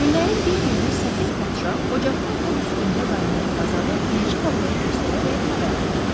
Günlərin bir günü səfeh padşah ocaqda od üstündə qaynayan qazanı bilici babaya göstərərək xəbər aldı.